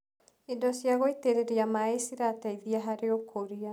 Indo cia gũitĩrĩria maĩ cirateithia harĩ ũkũria.